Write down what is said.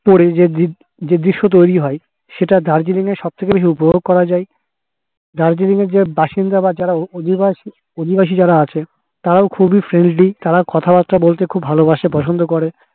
এর যে দৃশ্য তৈরী হয় সেটা দার্জিলিং এসে শখ পুরো করা যাই দার্জিলিং এর যে বাসিন্দার যারা অধিবাসী অধিবাসী যারা আছে ত্রাও খুবই friendly তারাও কথা বার্তা বলতে খুব ভালোবাসে পছন্দ করে